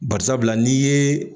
Bari sabula n'i ye